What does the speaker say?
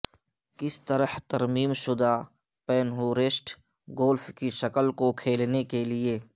کس طرح ترمیم شدہ پینہورسٹ گولف کی شکل کو کھیلنے کے لئے